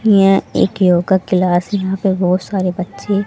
यह एक yoga class यहाँ पे बहोत सारे बच्चे--